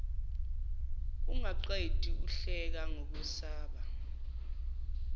ungaqedi uhleka ngokwesaba